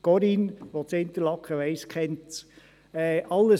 Corinne Schmidhauser, die in Interlaken wohnt, kennt es.